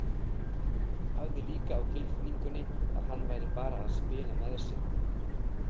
Hafði líka á tilfinningunni að hann væri bara að spila með sig.